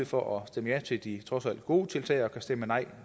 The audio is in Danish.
for at stemme ja til de trods alt gode tiltag og kan stemme nej